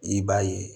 I b'a ye